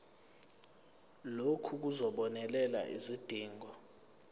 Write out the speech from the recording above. lokhu kuzobonelela izidingo